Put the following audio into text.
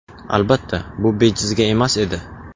Albatta, bu bejizga emas edi.